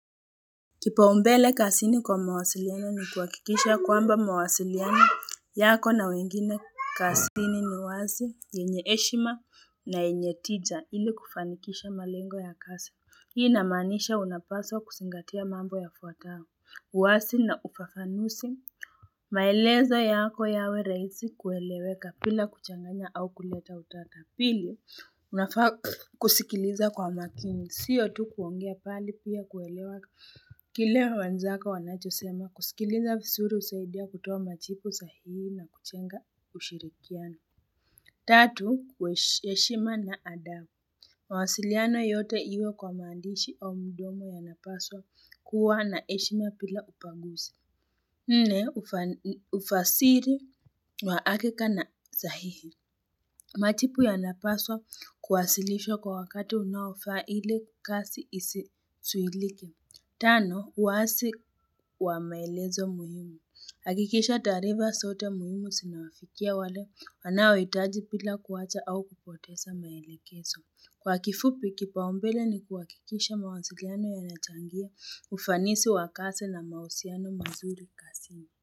Kipa umbele kazini kwa mawasiliano ni kuhakikisha kwamba mawasiliano yako na wengine kasini ni wazi yenye heshima na yenye tija ili kufanikisha malengo ya kasi hii namaanisha unapaswa kusingatia mambo ya fuatao uwasi na ufafanusi maelezo yako yawe rahisi kueleweka pila kuchanganya au kuleta utata pili unafaa kusikiliza kwa makini siyo tu kuongea pali pia kuelewa Kile wenzako wanachosema kusikiliza fisuru usaidia kutoa machipu sahihi na kuchenga ushirikiana Tatu, heshima na adabu mawasiliana yote iwe kwa mandishi au mdomo ya napaswa kuwa na heshima pila upaguzi nne, ufasiri wa akika na sahihi Machipu ya napaswa kuwasilishwa kwa wakati unaofaa ile kasi isi suilike. Tano, uwasi wa maelezo muhimu. Hakikisha taarifa sote muhimu sinawafikia wale wanao itaji pila kuwacha au kupotesa maelekeso. Kwa kifupi, kipaumbele ni kuhakikisha mawasiliano yanachangia ufanisi wakasi na mausiano mazuri kasini.